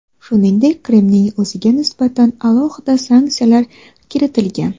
Shuningdek, Qrimning o‘ziga nisbatan alohida sanksiyalar kiritilgan .